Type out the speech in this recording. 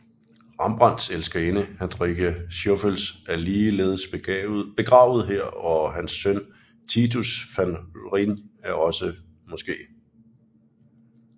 Rembrandts elskerinde Hendrickje Stoffels er ligeledes begravet her og hans søn Titus van Rijn er måske også